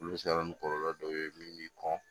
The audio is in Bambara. Olu bɛ se ka na ni kɔlɔlɔ dɔ ye min bɛ kɔn